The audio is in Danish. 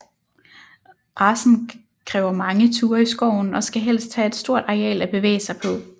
Racen kræver mange ture i skoven og skal helst have et stort areal at bevæge sig på